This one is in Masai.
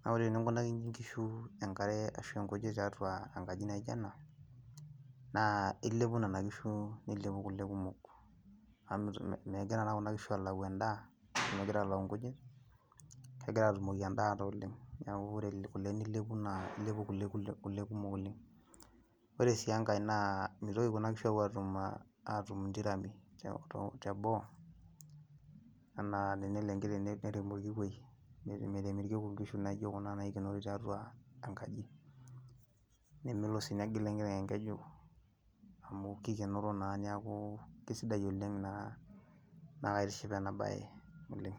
naa wore eningunaki inkishu enkare ashu inkujit tiatua enkaji naijo ena naa ilepu nena kishu, nilepu kulee kumok amu megira naa kuna kishu alau endaa megira alau inkujit , kegira aatumoki endaata oleng. Niaku wore kulee nilepu naa ilepu kulee kumok oleng. Wore sii engai naa mitoki kuna kishuu apuo atum intirami teboo , anaa telo enkiteng nerem orkikwei , merem irkiku inkishu naijo kuna naikenori tiatua enkaji , nemelo sii nengila enkiteng enkeju , amu kikenoro naa niaku kisidai oleng naa naa kaitiship enaabaye oleng.